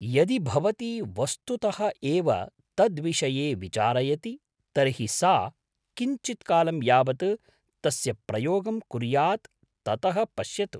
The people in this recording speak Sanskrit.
यदि भवती वस्तुतः एव तद्विषये विचारयति तर्हि सा किञ्चित्कालं यावत् तस्य प्रयोगं कुर्यात् ततः पश्यतु।